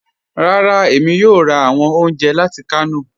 Rárá, èmi yóò rà awọn ọ̀unjẹ láti Kano.